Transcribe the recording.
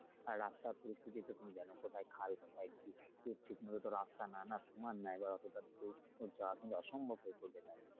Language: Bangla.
আর রাস্তার পরিস্থিতি তো তুমি জানো কোথায় খাল কোথায় কি ঠিকমতো তো রাস্তা না, না সমান না এবার অতোটা দূরত্ব যাওয়া কিন্তু অসম্ভব হয়ে পরবে তাহলে।